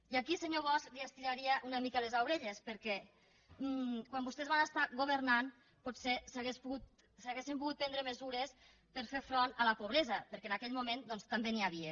i aquí senyor bosch li estiraria una mica les orelles perquè quan vostès van governar potser s’haurien pogut prendre mesures per fer front a la pobresa perquè en aquell moment també n’hi havia